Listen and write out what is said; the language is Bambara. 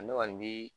Ne kɔni bi